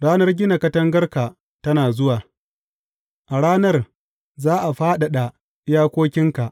Ranar gina katangarka tana zuwa, a ranar za a fadada iyakokinka.